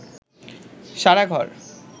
সারা ঘর